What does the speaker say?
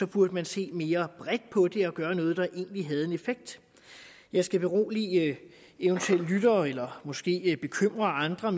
burde man se mere bredt på det og gøre noget der egentlig havde en effekt jeg skal berolige eventuelle lyttere eller måske bekymre andre